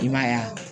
I man ye yan